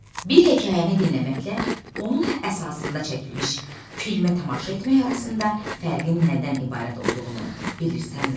Bir hekayəni dinləməklə onun əsasında çəkilmiş filmə tamaşa etmək arasında fərqin nədən ibarət olduğunu bilirsənmi?